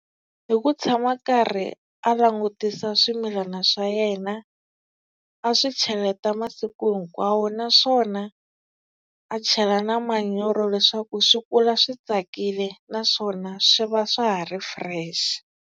Hi ku tshama karhi a langutisa swimilana swa yena, a swi cheleta masiku hinkwawo naswona a chela na manyoro leswaku swi kula swi tsakile naswona swi va swa ha ri fresh.